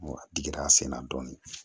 Wa a digira sen na dɔɔnin